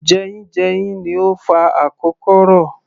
Jeyínjeyín ni ó ń fa akokoro